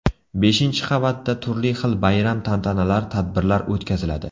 Beshinchi qavat da turli xil bayram-tantanalar, tadbirlar o‘tkaziladi.